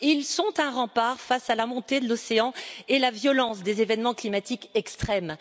Ils sont un rempart face à la montée de l'océan et à la violence des événements climatiques extrêmes.